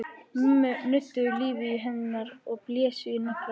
Mömmur nudduðu lífi í hendur og blésu í naglakul.